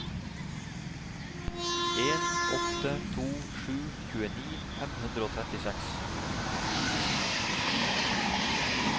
en åtte to sju tjueni fem hundre og trettiseks